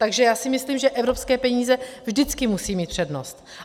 Takže já si myslím, že evropské peníze vždycky musí mít přednost.